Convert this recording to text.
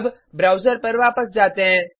अब ब्राउज़र पर वापस जाते हैं